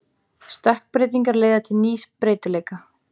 Stökkbreytingar leiða til nýs breytileika.